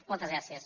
moltes gràcies